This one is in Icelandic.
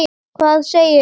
Hvað segirðu?